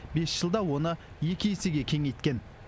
бес жылда оны екі есеге кеңейткен